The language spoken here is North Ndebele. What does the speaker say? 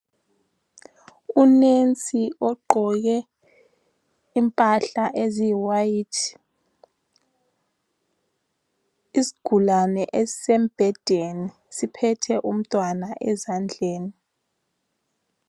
Unesi ogqoke impahla eziyiwayithi. Isigulane esisembhedeni siphethe umntwana ezandleni.